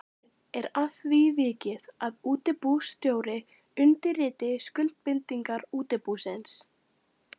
Fyrr er að því vikið að útibússtjóri undirriti skuldbindingar útibúsins.